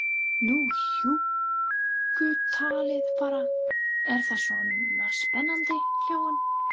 Nú hjúkkutalið bara, er það svona spennandi, hló hún.